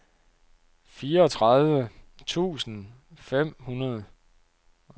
fireogtredive tusind fem hundrede